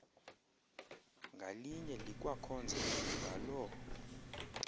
ngalinye likwakhonza ngaloo